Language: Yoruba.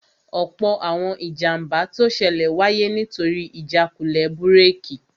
Ọ̀pọ̀ àwọn ìjàmbá tó ṣẹlẹ̀ wáyé nítorí ìjákulẹ̀ búrèkì